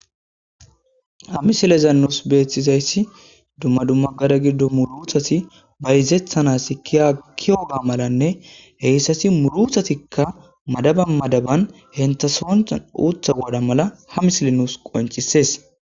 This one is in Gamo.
Ha misilezanus beeththizayssi dumma dummagada giddo muluthasi bayzethanas kkiyoga malanne heyssasi muluthatikka madaba madaban hentha soonxan uutha gooda mala ha mislenus qoncisees.